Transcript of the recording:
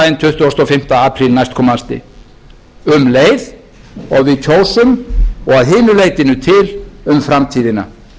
tuttugasta og fimmta apríl næstkomandi um leið og við kjósum og að hinu leytinu til um framtíðina